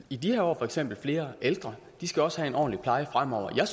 i de her år for eksempel flere ældre de skal også have en ordentlig pleje fremover jeg